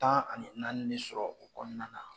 Tan ani naani de sɔrɔ o kɔnɔna na